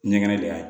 Ɲɛgɛn de y'a ye